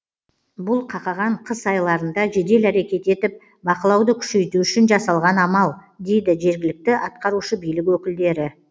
бұл қақаған қыс айларында жедел әрекет етіп бақылауды күшейту үшін жасалған амал дейді жергілікті атқарушы билік өкілдері